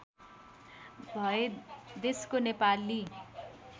भए देशको नेपाली